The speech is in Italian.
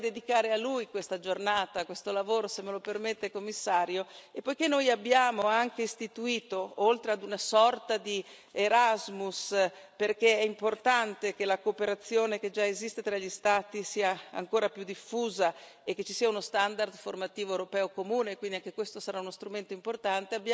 Io vorrei dedicare a lui questa giornata, questo lavoro, se me lo permette Commissario, e poiché noi abbiamo anche istituito, oltre ad una sorta di Erasmus perché è importante che la cooperazione che già esiste tra gli Stati sia ancora più diffusa e che ci sia uno standard formativo europeo comune, quindi anche questo sarà uno strumento importante